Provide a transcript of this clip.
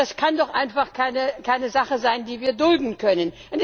Das kann doch einfach keine Sache sein, die wir dulden können.